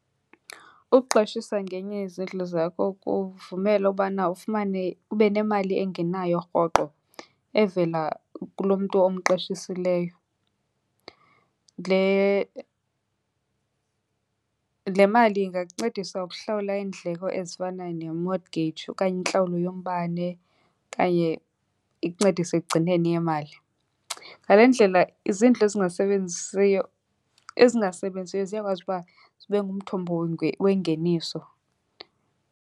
Ukuqashisa ngenye yezindlu zakho kuvumela ubana ufumane, ube nemali engenayo rhoqo evela kulo mntu omqeshisileyo. Le, le mali ingakuncedisa ukuhlawula iindleko ezifana ne-mortgage okanye intlawulo yombane okanye ikuncedise ekugcineni yemali. Ngale ndlela izindlu ezingasebenzisiyo, ezingasebenziyo ziyakwazi uba zibe ngumthombo wengeniso.